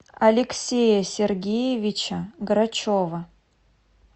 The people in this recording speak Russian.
алексея сергеевича грачева